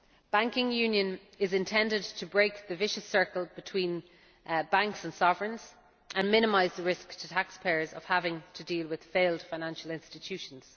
Banking union is intended to break the vicious circle between banks and sovereigns, and minimise the risk to taxpayers of having to deal with failed financial institutions.